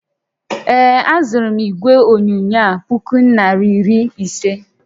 Ee, azụrụ m igwe onyonyo a puku naira iri ise